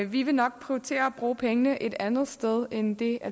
vi vil nok prioritere at bruge pengene et andet sted end det